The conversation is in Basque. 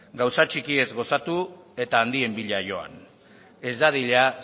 gauza txikiez gozatu eta handien bila joan ez dadila